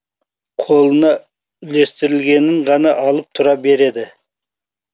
қолына үлестірілгенін ғана алып тұра береді